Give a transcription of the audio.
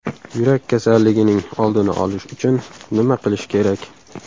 Yurak kasalligining oldini olish uchun nima qilish kerak?